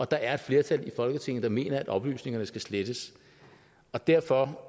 der er et flertal i folketinget der mener at oplysningerne skal slettes derfor